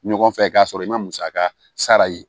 Ɲɔgɔn fɛ k'a sɔrɔ i ma musaka sara ye